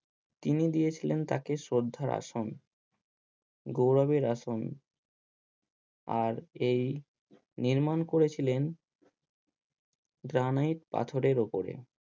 তিনি দিয়েছিলেন তাকে সদ্ধার আসন গৌরবের আসন আর এই নির্মাণ করেছিলেন গ্রানাইট পাথরের ওপরে।